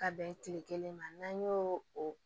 Ka bɛn kile kelen ma n'an y'o o